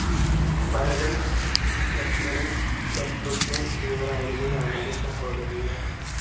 ഭരതൻ, ലക്ഷ്മണൻ, ശത്രുഘ്‌നൻ എന്നിവരായിരുന്നു രാമൻ്റെ സഹോദരൻമാർ.